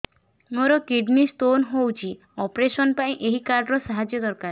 ମୋର kidney stone ହଇଛି operation ପାଇଁ ଏହି କାର୍ଡ ର ସାହାଯ୍ୟ ଦରକାର